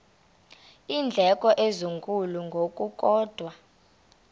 iindleko ezinkulu ngokukodwa